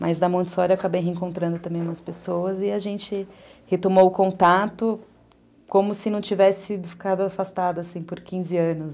Mas da Montessori eu acabei reencontrando também umas pessoas e a gente retomou o contato como se não tivesse ficado afastado por quinze anos.